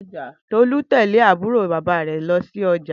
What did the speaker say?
Tolu te lé àbúró bàbá rè lọ sí ojà.